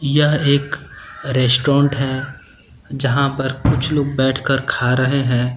यह एक रेस्टोरेंट है जहां पर कुछ लोग बैठकर खा रहे हैं।